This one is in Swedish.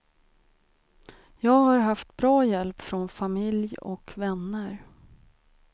Jag har haft bra hjälp från familj och vänner.